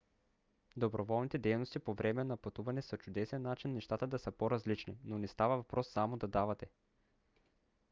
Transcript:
доброволните дейности по време на пътуване са чудесен начин нещата да са по-различни но не става въпрос само да давате